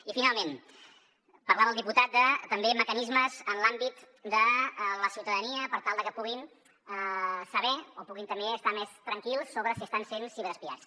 i finalment parlava el diputat de també mecanismes en l’àmbit de la ciutadania per tal de que puguin saber o puguin també estar més tranquils sobre si estan sent ciberespiats